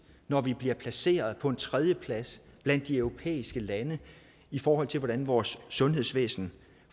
når vi bliver placeret på en tredjeplads blandt de europæiske lande i forhold til hvordan vores sundhedsvæsen